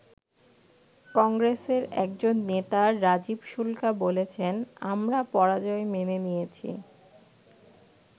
কংগ্রেসের একজন নেতা রাজীব শুল্কা বলেছেন, আমরা পরাজয় মেনে নিয়েছি।